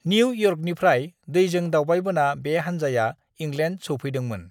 New इयर्कनिफ्राय दैजों दावबायबोना बे हान्जाया इंलेण्ड सौफैदोंमोन।